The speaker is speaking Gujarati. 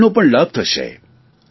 પર્યાવરણનો પણ લાભ થશે